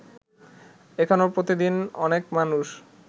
এখনো প্রতিদিন অনেক মানুষ